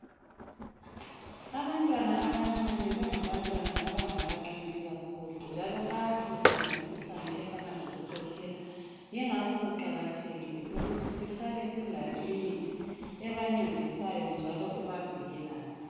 Abantwana abancane, bangabantwana abangakaqini kakhulu njalo bayahlutshwa yimikhuhlane efana lokukhwehlela. Ingakho kuqakathekile ukuthi sihlale silayo imithi ebancedisayo njalo ebavikelayo.